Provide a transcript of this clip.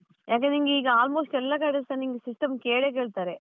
ಯಾಕಂದ್ರೆ ನಿಂಗೆ ಈಗ almost ಎಲ್ಲ ಕಡೆಸ ನಿಂಗ್ system ಕೇಳೇ ಕೇಳ್ತಾರೆ.